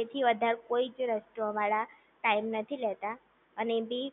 એથી વધારે કોઈ જ રેસ્ટોરન્ટ વાળા ટાઈમ નથી લેતા અને એ ભી